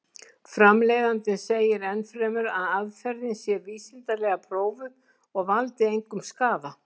Framleiðandinn segir enn fremur að aðferðin sé vísindalega prófuð og valdi engum skaða.